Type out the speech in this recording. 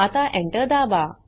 आता Enter दाबा